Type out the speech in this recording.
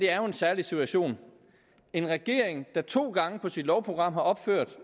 er en særlig situation en regering der to gange på sit lovprogram har opført